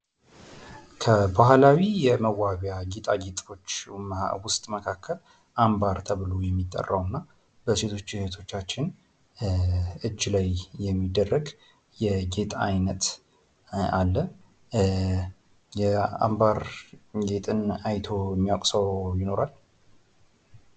ከባህላዊ የጌጣጌጦች መዋቢያ ዉስጥ መካከል አምባር ተብሎ የሚጠራዉ እና በሴቶች እህቶቻችን እጅ ላይ የሚደረግ የጌጥ አይነት አለ። የአምባር ጌጥን አይቶ የሚያዉቅ ሰዉ ይኖራል?